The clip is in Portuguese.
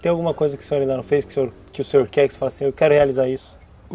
Tem alguma coisa que o senhor ainda não fez, que o senhor quer, que você fala assim, eu quero realizar isso?